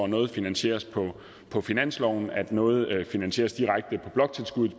noget finansieres på på finansloven at noget finansieres direkte på bloktilskuddet